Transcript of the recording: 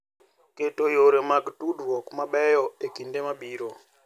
Keto yore mag tudruok mabeyo e kinde mabiro.